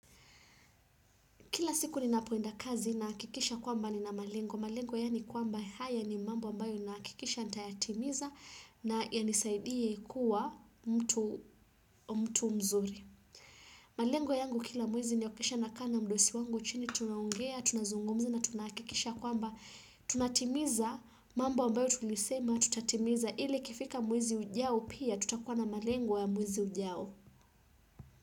Kila siku ninapoenda kazi na hakikisha kwamba ni na malengo malengo yani kwamba haya ni mambo ambayo na hakikisha nitayatimiza na yanisaidie kuwa mtu mtu mzuri. Malengo yangu kila mwezi ni okisha na kaa mdosi wangu chini tunaongea, tunazungumza na tunahakikisha kwamba tunatimiza mambo ambayo tulisema tutatimiza ili ikifika mwezi ujao pia tutakuwa na malengo ya mwezi ujao.